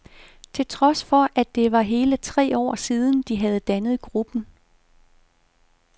Til trods for, at det var hele tre år siden, de havde dannet gruppen.